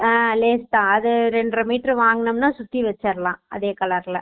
ஹம் great தான் அது ரென்ற மீட்டர் வாங்குனாம்னா சுத்தீ வேச்சிருலாம் அதே colour ல